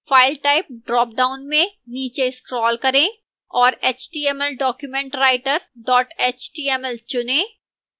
file type dropdown में नीचे scroll करें और html document writer html चुनें